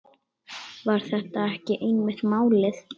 Var þetta ekki einmitt málið?